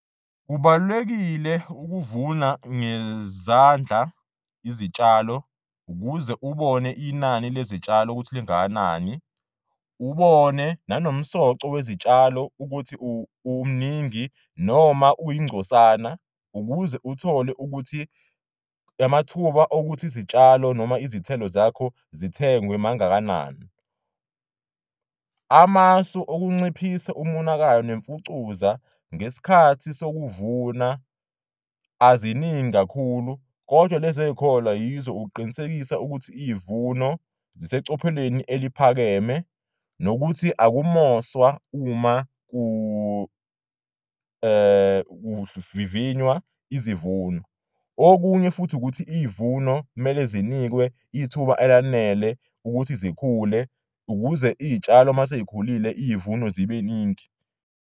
Kubalulekile ukuvuna ngezandla izitshalo ukuze ubone inani lezitshalo ukuthi lingakanani, ubone nanomsoco wezitshalo ukuthi umningi noma uyingcosana ukuze uthole ukuthi amathuba okuthi isitshalo noma izithelo zakho zithengwe mangakanani. Amasu okunciphise umonakalo nemfucuza ngesikhathi sokuvuna aziningi kakhulu kodwa lezi ekholwa yizo ukuqinisekisa ukuthi izivuno zisecophelweni eliphakeme nokuthi akumoswa uma kuvivinywa izivuno. Okunye futhi ukuthi iy'vuno kumele zinikwe ithuba elanele ukuthi zikhule ukuze iy'tshalo masey'khulile, iyivuno zibeningi.